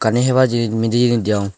ene hebar jinich mide jinich degong.